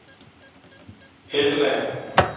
Hesselager